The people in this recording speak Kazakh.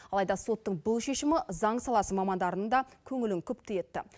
алайда соттың бұл шешімі заң саласы мамандарының да көңілін күпті етті